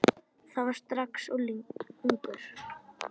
Var það strax ungur.